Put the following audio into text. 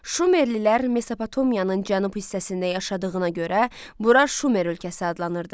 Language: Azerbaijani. Şumerlilər Mesopotamiyanın cənub hissəsində yaşadığına görə bura Şumer ölkəsi adlanırdı.